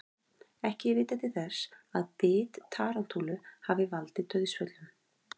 Ekki er vitað til þess að bit tarantúlu hafi valdið dauðsföllum.